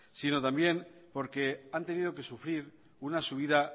sino que también han tenido que sufrir una subida